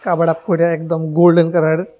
Cover up করে একদম golden colour.